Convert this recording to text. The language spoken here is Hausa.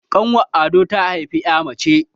ƙanwar ado ta haifi ya mace